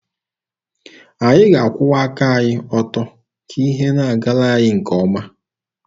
Anyị ga-akwụwa aka anyị ọtọ ka ihe na-agara anyị nke ọma.